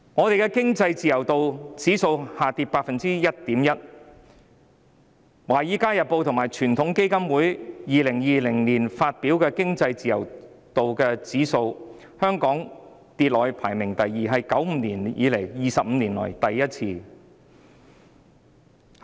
香港的經濟自由度指數下跌了 1.1%， 根據《華爾街日報》和傳統基金會在2020年發表的經濟自由度指數，香港的排名下跌至第二位，是自1995年後 ，25 年以來首次發生。